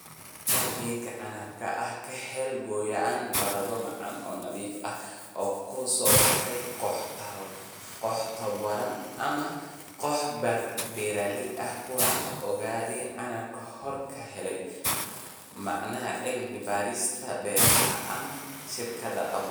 Soo saarista geedka canabka ah Ka hel gooyn baradho macaan oo nadiif ah oo ka soo baxa koox tabobaran ama koox beeraley ah kuwaas oo geed canabkii hore ka helay Machadka Cilmi-baarista Beeraha ama shirkad abuur.